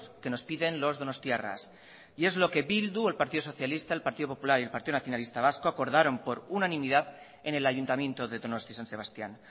que nos piden los donostiarras y es lo que bildu el partido socialista el partido popular y el partido nacionalista vasco acordaron por unanimidad en el ayuntamiento de donosti san sebastián